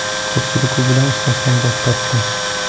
Ko‘pchilik u bilan ishlashdan bosh tortdi.